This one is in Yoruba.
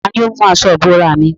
Tani ó mú aṣọ ìbora mi?